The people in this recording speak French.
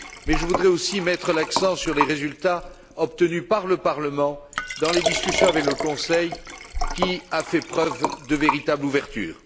Je voudrais également mettre l'accent sur les résultats obtenus par le Parlement dans les discussions avec le Conseil, qui a fait preuve d'une véritable ouverture.